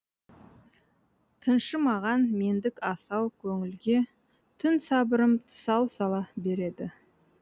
тыншымаған мендік асау көңілгетүн сабырым тұсау сала береді